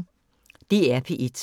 DR P1